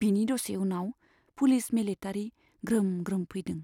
बिनि दसे उनाव पुलिस मिलिटारी ग्रोम ग्रोम फैदों।